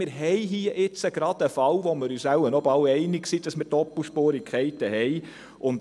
Wir haben hier jetzt gerade einen Fall, in dem wir uns wohl fast einig sind, dass wir Doppelspurigkeiten haben.